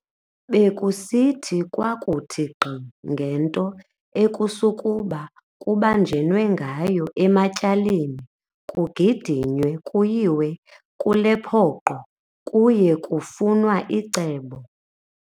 Bekusithi kwakuthi nkqi ngento ekusukuba kubanjenwe ngayo ematyaleni kugidinywe kuyiwe kuLepoqo kuye kufunwa icebo.